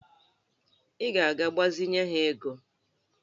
Ị ga-agbazinye ha ego?